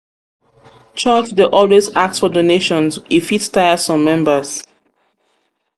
church dey always ask for donations e fit tire some members.